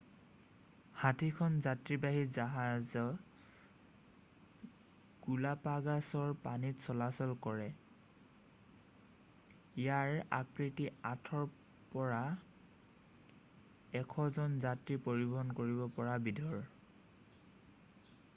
60খন যাত্ৰীবাহী জাহাজ গালাপাগ'ছৰ পানীত চলাচল কৰে ইয়াৰ আকৃতি 8ৰ পৰা 100 জন যাত্ৰী পৰিবহন কৰিব পৰা বিধৰ